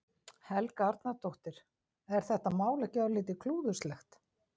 Helga Arnardóttir: Er þetta mál ekki örlítið klúðurslegt?